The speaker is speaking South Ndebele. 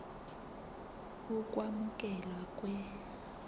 ukwamukelwa kwe r